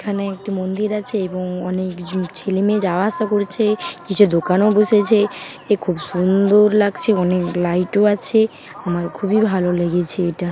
এখানে একটি মন্দির আছে এবং অনেক ছেলেমেয়ে যাওয়া আশা করছে কিছু দোকানও বসেছে এ খুব সুন্দর লাগছে অনেক লাইট ও আছে আমার খুবই ভালো লেগেছে এটা ।